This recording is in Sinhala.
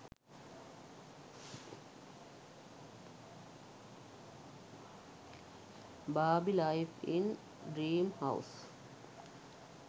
barbie life in dream house